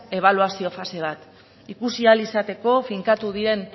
ebaluazio fase bat ikusi ahal izateko finkatu diren